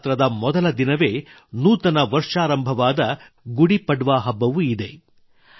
ನವರಾತ್ರಿಯ ಮೊದಲ ದಿನವೇ ನೂತನ ವರ್ಷಾರಂಭವಾದ ಗುಡಿ ಪಡ್ವಾ ಹಬ್ಬವೂ ಇದೆ